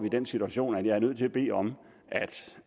i den situation at jeg er nødt til at bede om